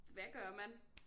Hvad gør man?